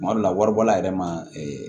Kuma dɔ la waribɔla yɛrɛ ma